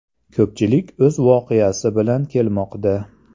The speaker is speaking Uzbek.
Ko‘pchilik o‘z voqeasi bilan kelmoqda.